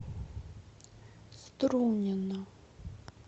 струнино